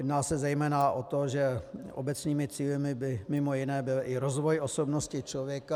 Jedná se zejména o to, že obecnými cíli by mimo jiné byl i rozvoj osobnosti člověka...